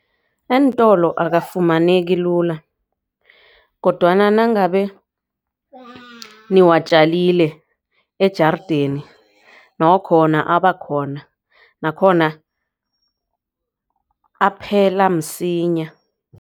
Eentolo akafumaneki lula kodwana nangabe niwatjalile ejarideni nokho abakhona nakhona aphela msinya.